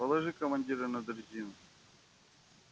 положи командира на дрезину